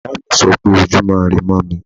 Ìyáàmi sọ pé Ojúmọ́ irẹ mọ́ mi.